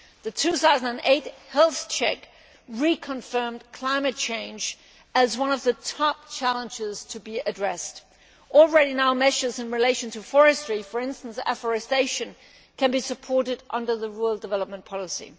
The 2008 Health Check reconfirmed climate change as one of the major challenges to be addressed, and already measures in relation to forestry for example, afforestation can be supported under the rural development policy.